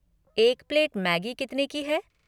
एक plate Maggi कितने की है?